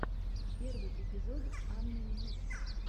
первый эпизод анны ньюс